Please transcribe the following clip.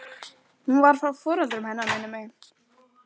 Hún var frá foreldrum hennar minnir mig.